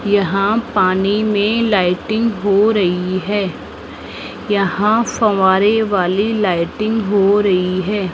यहां पानी में लाइटिंग हो रही है यहां फब्बारे वाली लाइटिंग हो रही है।